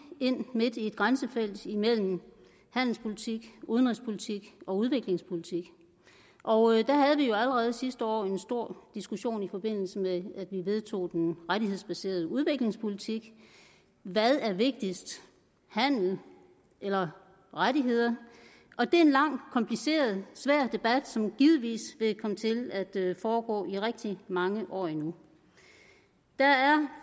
ind midt i et grænsefelt imellem handelspolitik udenrigspolitik og udviklingspolitik og da havde vi jo allerede sidste år en stor diskussion i forbindelse med at vi vedtog den rettighedsbaserede udviklingspolitik hvad er vigtigst handel eller rettigheder og det er en lang kompliceret og svær debat som givetvis vil komme til at foregå i rigtig mange år endnu der er